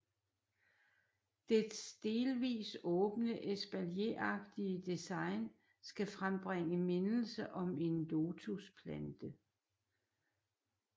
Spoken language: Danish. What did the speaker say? Dets delvis åbne espalieragtige design skal frembringe mindelse om en lotusplante